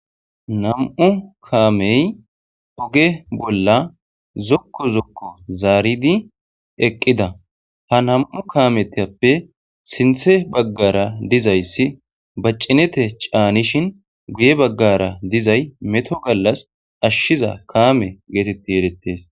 Nam'u kaamey oge bolla zokko zokko zaaridi eqqida ha nam'u kaametappe sinthe baggara dizayssi baccinete caanishin guye baggara dizay meto gallas ashshiza kaame geetetti erettes.